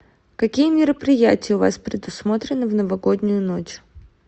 какие мероприятия у вас предусмотрены в новогоднюю ночь